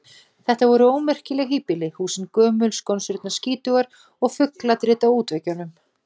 Þetta voru ómerkileg híbýli: húsin gömul, skonsurnar skítugar og fugladrit á útveggjum.